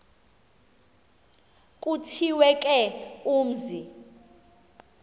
kuthiwe ke umzi